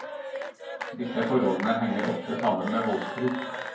Disse forholdene henger ofte sammen med voldsbruk.